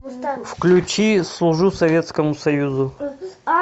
включи служу советскому союзу